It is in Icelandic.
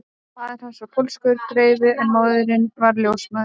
Faðir hans var pólskur greifi en móðirin var ljósmóðir